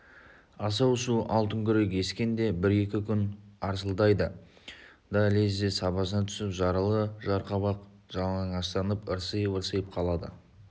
асау су алтынкүрек ескенде бір-екі күн арсылдайды да лезде сабасына түсіп жаралы жарқабақ жалаңаштанып ырсиып-ырсиып қалады